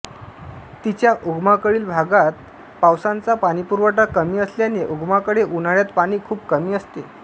तिच्या उगमाकडील भागात पावसाचा पाणीपुरवठा कमी असल्याने उगमाकडे उन्हाळ्यात पाणी खूप कमी असते